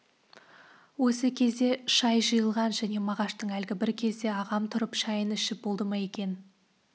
осы кезде шай жиылған және мағаштың әлгі бір кезде ағам тұрып шайын ішіп болды ма екен